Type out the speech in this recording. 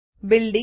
નમસ્તે મિત્રો